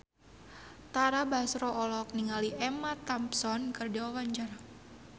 Tara Basro olohok ningali Emma Thompson keur diwawancara